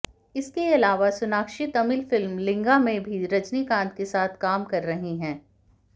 इसके आलावा सोनाक्षी तमिल फिल्म लिंगा में भी रजनीकांत के साथ काम कर रही है